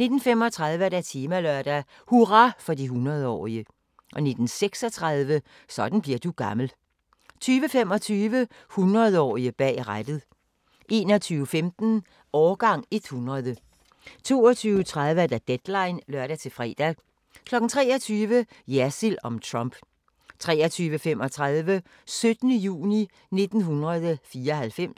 19:35: Temalørdag: Hurra for de hundredeårige 19:36: Sådan bliver du gammel 20:25: 100-årige bag rattet 21:15: Årgang 100 22:30: Deadline (lør-fre) 23:00: Jersild om Trump 23:35: 17. juni 1994